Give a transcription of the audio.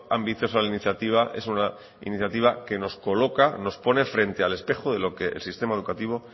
ambiciosa la iniciativa es una iniciativa que nos pone frente al espejo de lo que el sistema educativo